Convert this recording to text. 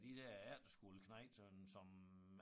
De der efterskoleknejte sådan som